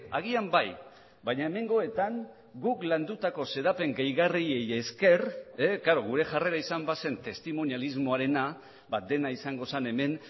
agian bai baina hemengoetan guk landutako xedapen gehigarriei esker klaro gure jarrera izan bazen testimonialismoarena dena izango zen hemen